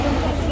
Sağ əyləş.